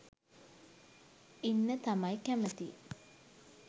ඉන්න තමයි කැමති.